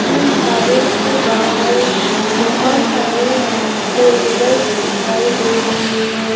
इस ढाबे के बाहर बहोत सारे फोर व्हीलर दिखाई दे रहे है।